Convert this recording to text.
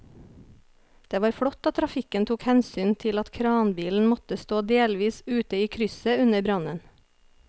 Det var flott at trafikken tok hensyn til at kranbilen måtte stå delvis ute i krysset under brannen.